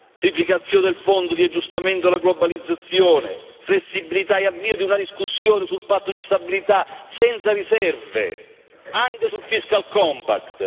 triplicazione del Fondo di adeguamento alla globalizzazione flessibilità e avvio di una discussione sul Patto di stabilità senza riserve, anche sul Fiscal Compact